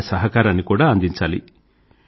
మన సహకారాన్ని కూడా అందించాలి